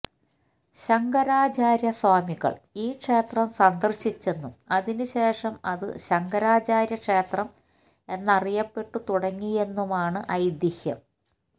ശങ്കരാചാര്യസ്വാമികള് ഈ ക്ഷേത്രം സന്ദര്ശിച്ചെന്നും അതിനുശേഷം അത് ശങ്കരാചാര്യക്ഷേത്രം എന്നറിയപ്പെട്ടു തുടങ്ങിയെന്നുമാണ് ഐതിഹ്യം